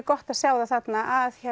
gott að sjá það þarna að